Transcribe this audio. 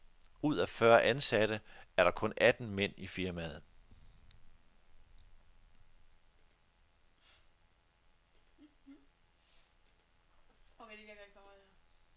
Ud af fyrre ansatte er der kun atten mænd i firmaet.